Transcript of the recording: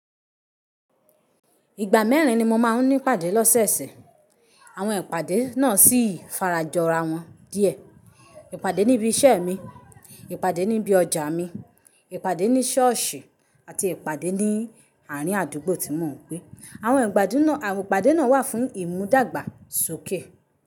Ìgbà mẹ́rin ni mo máa ń ní ipàdé lọ́sẹ̀ẹ̀sẹ̀. Àwọn ìpàdé náà sì fara jọ ara wọn díẹ̀. Ìpàdé níbi iṣẹ́ mi, ìpàdé níbi ọjà mi, ìpàdé ní ṣọ́ọ̀ṣì àti ìpàdé ní àárín àdúgbò tí mò ń gbé. Àwọn ìpàdé náà wà fún ìmúdàgba sókè.